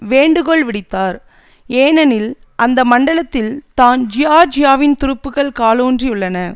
வேண்டுகோள் விடுத்தார் எனெனில் அந்த மண்டலத்தில் தான் ஜியார்ஜியாவின் துருப்புக்கள் காலூன்றி உள்ளன